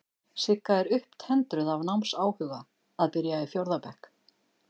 Sigga er upptendruð af námsáhuga, að byrja í fjórða bekk.